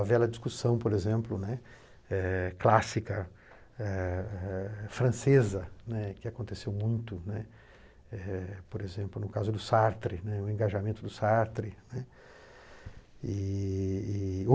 A velha discussão, por exemplo, né, eh clássica, eh eh francesa, né, que aconteceu muito, né, eh por exemplo, no caso do Sartre, né, eh o engajamento do Sartre, né. E e e